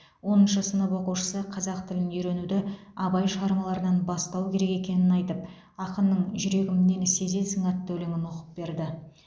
оныншы сынып оқушысы қазақ тілін үйренуді абай шығармаларынан бастау керек екенін айтып ақынның жүрегім нені сезесің атты өлеңін оқып берді